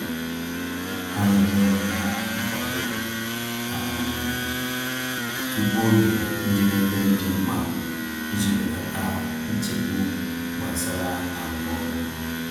Ha na-enye onwe ha nkwado um tupu oge njedebe dị mkpa iji belata nchegbu gbasara arụmọrụ.